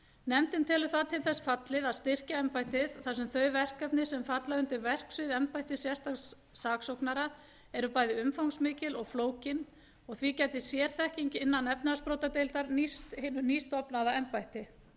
nefndin telur það til þess fallið að styrkja embættið þar sem þau verkefni sem falla undir verksvið embættis sérstaks saksóknara eru bæði umfangsmikil og flókin og því gæti sérþekking innan efnahagsbrotadeildar nýst hinu nýstofnaða embætti